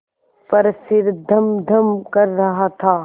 पर सिर धमधम कर रहा था